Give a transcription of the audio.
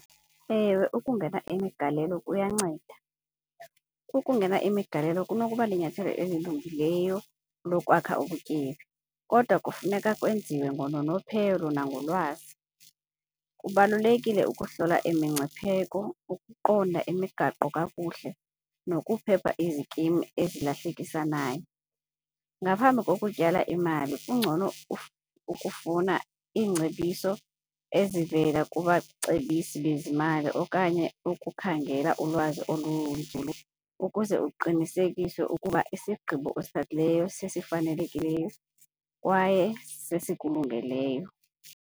Ewe, ukungena imigalelo kuyanceda. Ukungena imigalelo kunokuba linyathelo elilungileyo lokwakha ubutyebi kodwa kufuneka kwenziwe ngononophelo nangolwazi. Kubalulekile ukuhlola imingcipheko, ukuqonda imigaqo kakuhle nokuphepha izikimu ezilahlekisanayo. Ngaphambi kokutyala imali kungcono ukufuna iingcebiso ezivela kubacebisi bezimali okanye ukukhangela ulwazi olunzulu ukuze uqinisekise ukuba isigqibo osithathileyo sesifanelekileyo kwaye sesikulungeleyo.